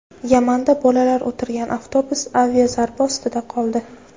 Yamanda bolalar o‘tirgan avtobus aviazarba ostida qoldi.